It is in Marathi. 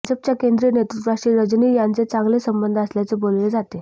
भाजपच्या केंद्रीय नेतृत्वाशी रजनी यांचे चांगले संबंध असल्याचे बोलले जाते